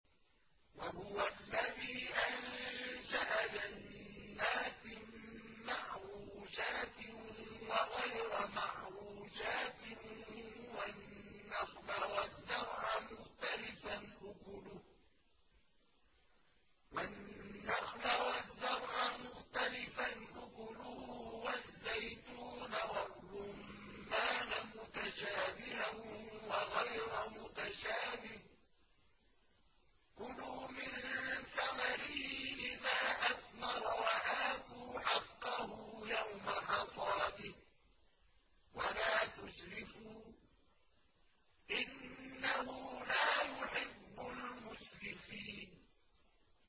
۞ وَهُوَ الَّذِي أَنشَأَ جَنَّاتٍ مَّعْرُوشَاتٍ وَغَيْرَ مَعْرُوشَاتٍ وَالنَّخْلَ وَالزَّرْعَ مُخْتَلِفًا أُكُلُهُ وَالزَّيْتُونَ وَالرُّمَّانَ مُتَشَابِهًا وَغَيْرَ مُتَشَابِهٍ ۚ كُلُوا مِن ثَمَرِهِ إِذَا أَثْمَرَ وَآتُوا حَقَّهُ يَوْمَ حَصَادِهِ ۖ وَلَا تُسْرِفُوا ۚ إِنَّهُ لَا يُحِبُّ الْمُسْرِفِينَ